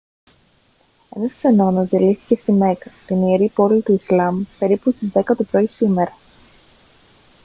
ένας ξενώνας διαλύθηκε στη μέκκα την ιερή πόλη του ισλάμ περίπου στις 10 το πρωί σήμερα